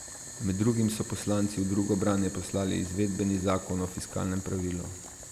Med drugim so poslanci v drugo branje poslali izvedbeni zakon o fiskalnem pravilu.